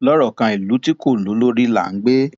lọrọ kan ìlú tí kò lólórí là ń gbé